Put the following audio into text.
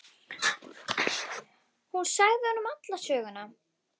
Hún sagði honum alla söguna.